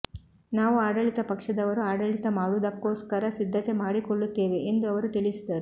ನಾವು ಆಡಳಿತ ಪಕ್ಷದವರು ಆಡಳಿತ ಮಾಡುವುದಕ್ಕೋಸ್ಕರ ಸಿದ್ಧತೆ ಮಾಡಿಕೊಳ್ಳುತ್ತೇವೆ ಎಂದು ಅವರು ತಿಳಿಸಿದರು